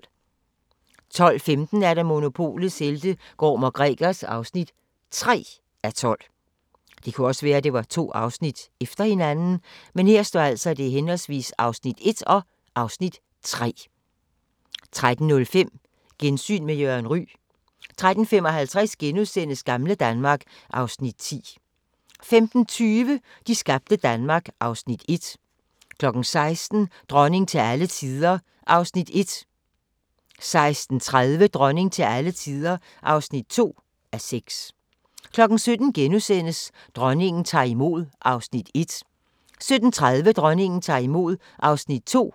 12:15: Monopolets helte - Gorm & Gregers (3:12) 13:05: Gensyn med Jørgen Ryg 13:55: Gamle Danmark (Afs. 10)* 15:20: De skabte Danmark (1:4) 16:00: Dronning til alle tider (1:6) 16:30: Dronning til alle tider (2:6) 17:00: Dronningen tager imod (1:5)* 17:30: Dronningen tager imod (2:5)